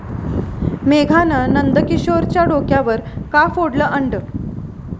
मेघानं नंदकिशोरच्या डोक्यावर का फोडलं अंड?